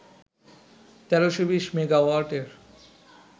১৩২০ মেগাওয়াটের